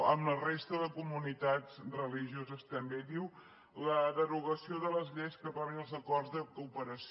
i amb la resta de comunitats religioses també diu la derogació de les lleis que aprovin els acords de cooperació